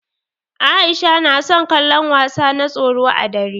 Aisha na son kallon wasa na tsoro ã dare.